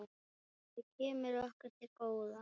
Það kemur okkur til góða.